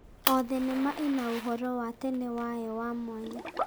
O thenema ĩna ũhoro wa tene wayo wa mwanya.